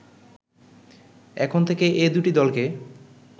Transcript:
এখন থেকে এ দুটি দলকে